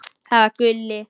Það var Gulli.